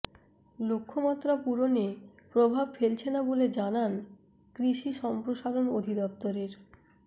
লক্ষ্যমাত্রা পূরণে প্রভাব ফেলছে না বলে জানান কৃষি সম্প্রসারণ অধিদপ্তরের